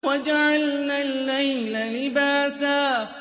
وَجَعَلْنَا اللَّيْلَ لِبَاسًا